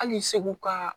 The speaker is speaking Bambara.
Hali segu ka